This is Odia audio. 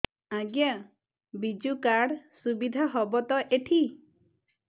ଆଜ୍ଞା ବିଜୁ କାର୍ଡ ସୁବିଧା ହବ ତ ଏଠି